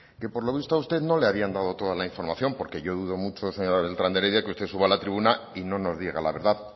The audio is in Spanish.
que por lo visto a usted no le habían dado toda la información porque yo dudo mucho señora beltrán de heredia que usted suba a la tribuna y no nos diga la verdad